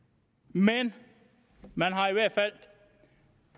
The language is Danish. men man har i hvert fald